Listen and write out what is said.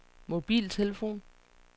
mobiltelefon